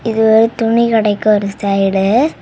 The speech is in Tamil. இது ஒரு துணி கடைக்கு ஒரு சைடு .